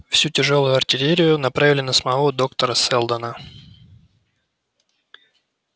всю тяжёлую артиллерию направили на самого доктора сэлдона